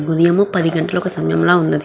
ఉదయము పది గంటలకు సమయం లాగా వున్నది.